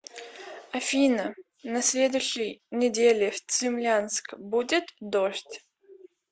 афина на следующей неделе в цимлянск будет дождь